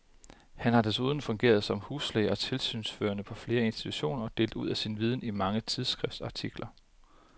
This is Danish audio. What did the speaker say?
Han har desuden fungeret som huslæge og tilsynsførende på flere institutioner og delt ud af sin viden i mange tidsskriftsartikler.